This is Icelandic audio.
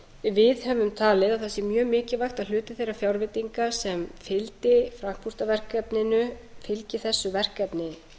máli við höfum talið að það væri mjög mikilvægt að hluti þeirra fjárveitinga sem fylgdi landshlutaverkefninu fylgi þessu verkefni